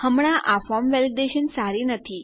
હમણાં આ form validation સારી નથી